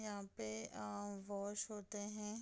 यहाँ पे अ वश होते हैं।